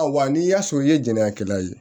Ayiwa n'i y'a sɔrɔ i ye jɛnnakɛla ye